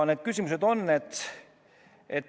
Need küsimused on järgmised.